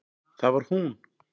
Það var hún!